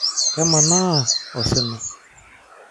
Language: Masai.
Kemanaa osina.